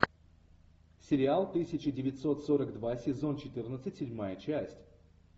сериал тысяча девятьсот сорок два сезон четырнадцать седьмая часть